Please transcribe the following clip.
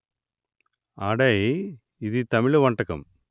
అడై ఇది తమిళ వంటకం